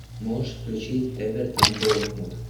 можешь включить эвертон борнмут